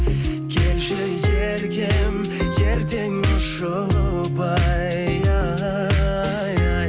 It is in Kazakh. келші еркем ертең ұшып ай ай